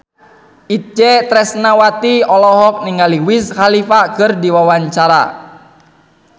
Itje Tresnawati olohok ningali Wiz Khalifa keur diwawancara